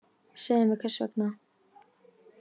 Segðu mér hvers vegna